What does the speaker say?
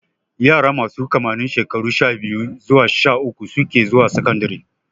Yara masu kimanin shekaru sha-biyu zuwa sha-uku suke zuwa sakandare.